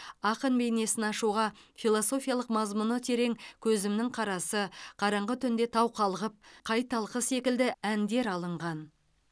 ақын бейнесін ашуға философиялық мазмұны терең көзімнің қарасы қараңғы түнде тау қалғып қай талқы секілді әндер алынған